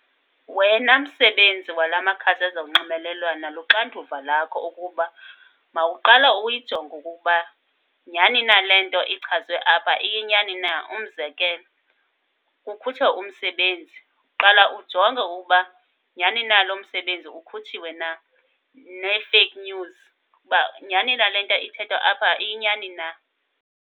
Wena msebenzi wala makhasi ezonxibelelwano luxanduva lakho ukuba mawuqale uyijonge okokuba nyani na le nto ichazwe apha iyinyani na. Umzekelo, kukhutshwa umsebenzi, qala ujonge ukuba nyani na lo msebenzi ukhutshiwe na. Nee-fake news, ukuba nyani na le nto ithethwa apha iyinyani na.